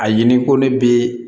A ɲini ko ne bɛ